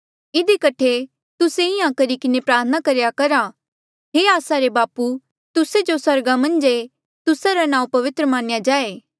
इधी कठे तुस्से इंहां करी किन्हें प्रार्थना करेया करा हे आस्सा रे बापू तुस्से जो स्वर्गा मन्झ ऐें तुस्सा रा नांऊँ पवित्र मन्या जाए